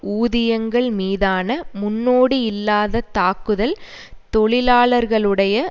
ஊதியங்கள் மீதான முன்னோடியில்லாத தாக்குதல் தொழிலாளர்களுடைய